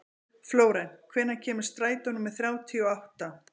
Flórent, hvenær kemur strætó númer þrjátíu og átta?